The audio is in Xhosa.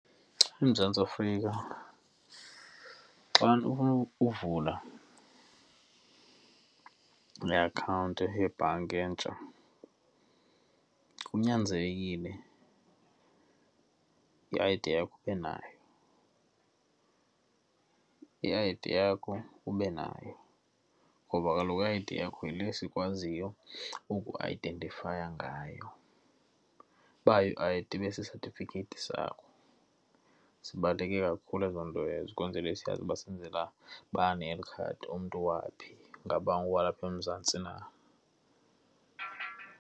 EMzantsi Afrika xa nifuna uvula iakhawunti yebhanki entsha, kunyanzelekile i-I_D yakho ube nayo. I-I_D yakho ube nayo ngoba kaloku i-I_D yakho yile sikwaziyo uku ayidentifaya ngayo. Uba ayo-I_D, ibe sisatifikhethi sakho, zibaluleke kakhulu ezo nto ezo ukwenzele siyazi uba senzela bani eli khadi, umntu waphi, ngaba ngowalapha eMzantsi na.